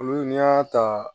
Olu n'i y'a ta